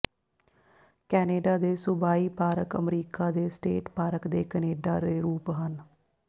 Canada ਦੇ ਸੂਬਾਈ park America ਦੇ ਸਟੇਟ ਪਾਰਕ ਦੇ ਕੈਨੇਡਾ ਦੇ ਰੂਪ ਹਨ